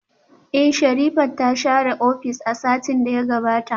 Eh, Sherifat ta share ofis a satin da ya gabata